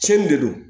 Cin de don